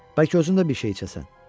Bəlkə özün də bir şey içəsən?